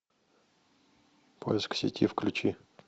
поиск сети включи